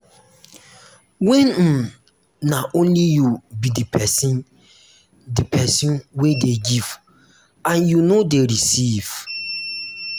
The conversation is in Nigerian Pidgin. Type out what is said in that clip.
when um na um only you be di person di person wey dey give and you no dey um receive